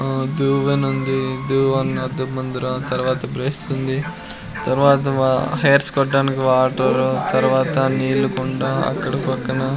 ఆ దువ్వెనుంది దువ్వెన అద్దం ముందర తర్వాత బ్రష్ ఉంది తర్వాత హెయిర్స్ కొట్టడానికి వాటరు తర్వాత నీళ్ల కుండ అక్కడ పక్కన--